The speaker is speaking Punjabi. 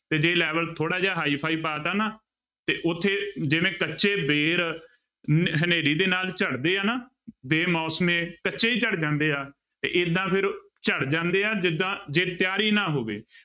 ਤੇ ਜੇ level ਥੋੜ੍ਹਾ ਜਿਹਾ high ਫਾਈ ਪਾ ਦਿੱਤਾ ਨਾ ਤੇ ਉੱਥੇ ਜਿਵੇਂ ਕੱਚੇ ਬੇਰ ਨ ਹਨੇਰੀ ਦੇ ਨਾਲ ਝੜਦੇ ਆ ਨਾ ਬੇਮੌਸਮੇ, ਕੱਚੇ ਹੀ ਝੜ ਜਾਂਦੇ ਆ, ਤੇ ਏਦਾਂ ਫਿਰ ਝੜ ਜਾਂਦੇ ਆ, ਜਿੱਦਾਂ ਜੇ ਤਿਆਰੀ ਨਾ ਹੋਵੇ।